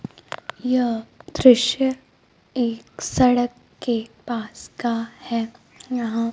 यह दृश्य एक सड़क के पास का है यहां--